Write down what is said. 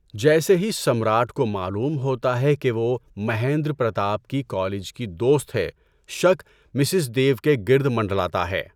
جیسے ہی سمراٹ کو معلوم ہوتا ہے کہ وہ مہیندر پرتاپ کی کالج کی دوست ہے، شک مسز ڈیو کے گرد منڈلاتا ہے۔